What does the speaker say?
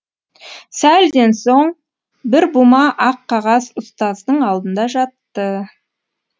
сәлден соң бір бума ақ қағаз ұстаздың алдында жатты